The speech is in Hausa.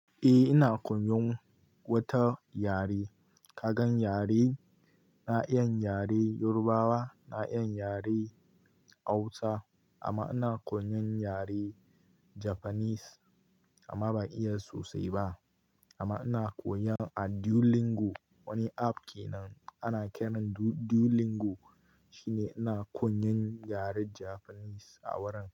Eh ina koyan wata yare. Ka gan yare, na iya yaren Yorubawa, na iya yaren Hausa amma ina koyan yaren Japanese amma ban iya sosai ba. Amma ina koyan a Duolingo, wani app kenan ana kiran Duolingo shine ina koyan yaren Japanese a wurin.